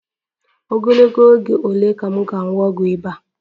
Ogologo oge ole ka m ga-aṅụ ọgwụ ịba?